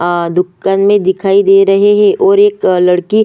आ दुकान में दिखाई दे रहे है ओर एक लड़की --